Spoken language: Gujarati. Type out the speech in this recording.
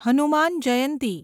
હનુમાન જયંતી